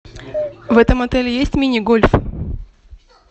в этом отеле есть мини гольф